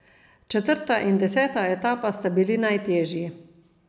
Četrta in deseta etapa sta bili najtežji.